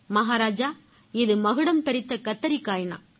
மகராஜா இது மகுடம் தரிச்ச கத்திரிக்காய்ன்னான்